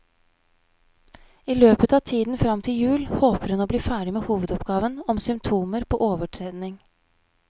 I løpet av tiden frem til jul håper hun å bli ferdig med hovedoppgaven om symptomer på overtrening.